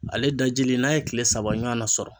Ale dajilen n'a ye tile saba ɲɔgɔn na sɔrɔ.